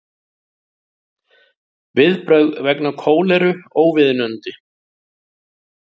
Viðbrögð vegna kóleru óviðunandi